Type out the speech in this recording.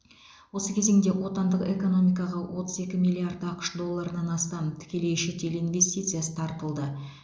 осы кезеңде отандық экономикаға отыз екі миллиард ақш долларынан астам тікелей шетел инвестициясы тартылды